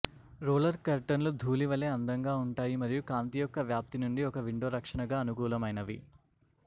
roller కర్టన్లు ధూళి వలె అందంగా ఉంటాయి మరియు కాంతి యొక్క వ్యాప్తి నుండి ఒక విండో రక్షణగా అనుకూలమైనవి